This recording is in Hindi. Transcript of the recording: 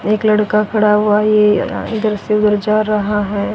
एक लड़का खड़ा हुआ है ये अ इधर से उधर जा रहा है।